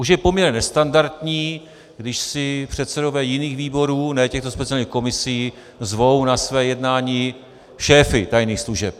Už je poměrně nestandardní, když si předsedové jiných výborů, ne těchto speciálních komisí, zvou na své jednání šéfy tajných služeb.